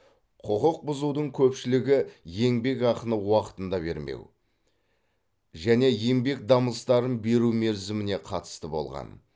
құқық бұзудың көпшілігі еңбекақыны уақытында бермеу және еңбек дамыстарын беру мерзіміне қатысты болған